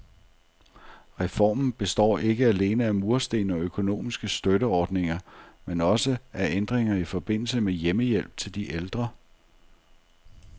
Reformen består ikke alene af mursten og økonomiske støtteordninger, men også af ændringer i forbindelse med hjemmehjælp til de ældre.